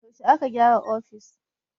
Yaushe aka gyara ofishin?